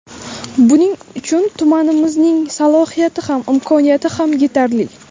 Buning uchun tumanimizning salohiyati ham, imkoniyati ham yetarli.